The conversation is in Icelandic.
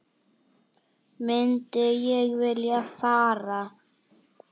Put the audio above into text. Myndi ég vilja fara?